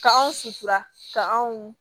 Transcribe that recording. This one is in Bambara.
Ka anw sutura ka anw